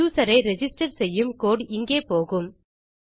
user ஐ register செய்யும் code இங்கே போகும்